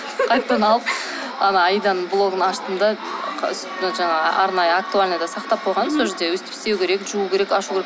қайтадан алып ана аиданың блогын аштым да жаңағы арнайы актуальныйда сақтап қойғам сол жерде өстіп істеу керек жуу керек ашу керек